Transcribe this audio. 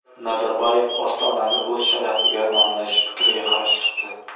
Nazarboyev Ostonani o‘z sharafiga nomlash fikriga qarshi chiqdi.